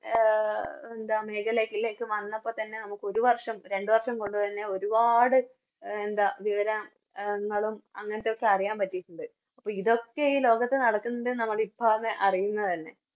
ന്താ മേഖലകളിലേക്ക് വന്നപ്പൊത്തന്നെ നമുക്ക് ഒരു വർഷം രണ്ട് വർഷം കൊണ്ട് തന്നെ ഒരുപാട് എന്താ വിവരങ്ങളും അങ്ങനത്തൊക്കെ അറിയാൻ പട്ടിട്ടുണ്ട് അപ്പൊ ഇതൊക്കെ ഈ ലോകത്ത് നടക്കുന്നുണ്ട് ന്ന് ഇപ്പാന്ന് അറിയുന്ന തന്നെ